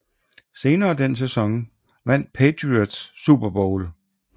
Senere den sæson vandt Patriots Super Bowl XXXVI mod St